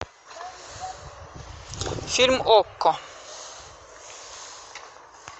фильм окко